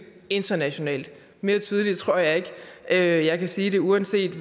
internationalt mere tydeligt tror jeg ikke at jeg kan sige det uanset